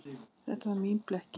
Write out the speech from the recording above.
Þetta var mín blekking.